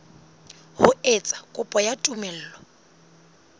ho etsa kopo ya tumello